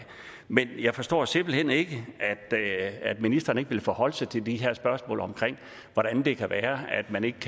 men jeg forstår simpelt hen ikke at ministeren ikke vil forholde sig til de her spørgsmål om hvordan det kan være at man ikke